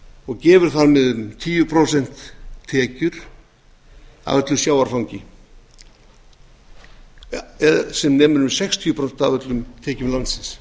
og gefur þar með um tíu prósent tekjur af öllu sjávarfangi eða sem nemur um sextíu prósent af öllum tekjum landsins